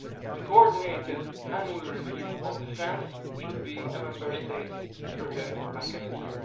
The Coordinated Annual Review on Defence should be a Member States driven mechanism.